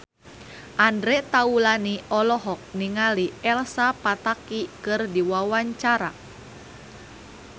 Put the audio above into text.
Andre Taulany olohok ningali Elsa Pataky keur diwawancara